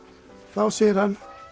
þá segir hann